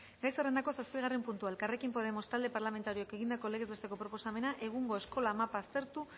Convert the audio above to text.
gai zerrendako zazpigarren puntua elkarrekin podemos talde parlamentarioak egindako legez besteko proposamena egungo eskola mapa aztertu